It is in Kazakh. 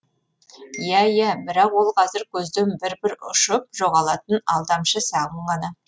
иә иә бірақ ол қазір көзден бір бір ұшып жоғалатын алдамшы сағым ғана